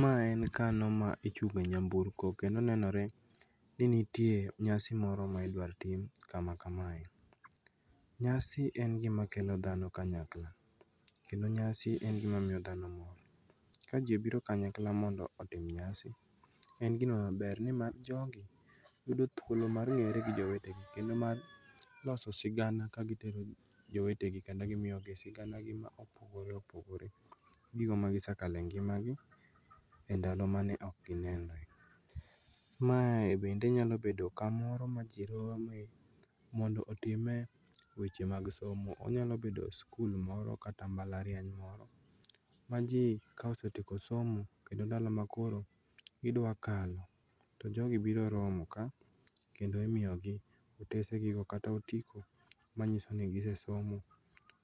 Ma en kano ma ichungo nyamburko kendo nenore ni nitie nyasi moro maidwartim kamakamae. Nyasi en gima kelo dhano kanyakla kendo nyasi en gima miyo dhano mor. Ka jii obiro kanyakla mondo otim nyasi en gima ber nima jogi yudo thuolo mar riwore gi jowetegi mar loso sigana ka gitero jowetegi kendo gimiyogi siganagi maopogore opogore, gigo magisekale ngimagi e ndalo mane okginenre. Mae bende nyalo bedo kamoro ma jii rome mondo otime weche mag somo. Onyalobedo skul moro kata mbalariany moro ma jii kaosetieko somo kendo ndalo makoro idwakalo to jogi biro romo ka kendo imiogi otesegigo kata otiko manyisoni gisesomo.